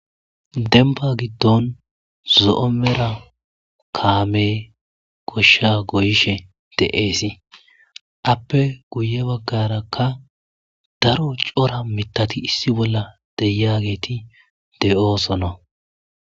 denba giddon zo7o mera kaame goshsha goyishe de7eesi appe guye baggarakka daro cora mitati issi bolla deyageeti de7oosono